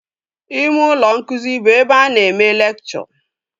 Ime ụlọ nkụzi bụ ebe a na-eme lekchọ